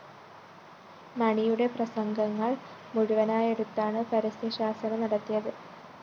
മണിയുടെ പ്രസംഗങ്ങള്‍ മുഴുവനായെടുത്താണ് പരസ്യശാസന നല്‍കിയത്